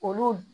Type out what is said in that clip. Olu